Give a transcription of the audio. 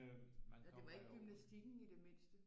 Det var ikke gymnastikken i det mindste